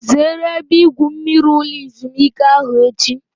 Zere ebe igwu mmiri ulo ezimuike ahu echi!